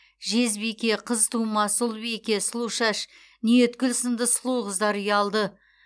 жезбике қызтумас ұлбике сұлушаш ниеткүл сынды сұлу қыздар ұялды